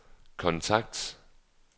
kontakt